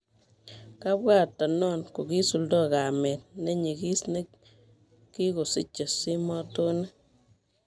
Kabwatan non kokisuldo kamet nekinyigis kikosiche simotonik